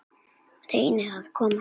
Reyna að komast upp.